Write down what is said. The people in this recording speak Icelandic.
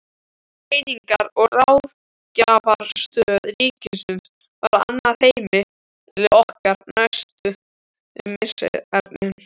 Greiningar- og ráðgjafarstöð ríkisins varð annað heimili okkar næstu misserin.